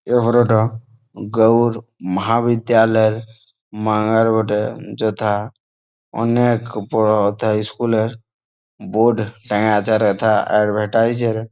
এই ফটোটা গৌর ভাবির দেয়ালে মাঙা রোডে -এ। যথা অনেক বড় থা স্কুল -এ বোট টাঙা আছে। এডভাইসটাইসে --